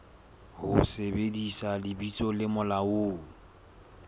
ho sebedisa lebitso le molaong